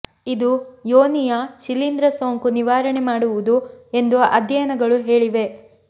ಇದು ಯೋನಿಯ ಶಿಲೀಂಧ್ರ ಸೋಂಕು ನಿವಾರಣೆ ಮಾಡುವುದು ಎಂದು ಅಧ್ಯಯನಗಳು ಹೇಳಿವೆ